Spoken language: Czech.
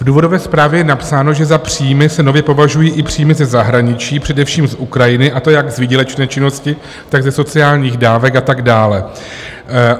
V důvodové zprávě je napsáno, že za příjmy se nově považují i příjmy ze zahraničí, především z Ukrajiny, a to jak z výdělečné činnosti, tak ze sociálních dávek a tak dále.